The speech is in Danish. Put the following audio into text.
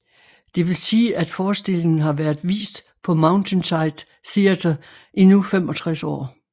Det vil sige at forestillingen har været vist på Mountainside Theater i nu 65 år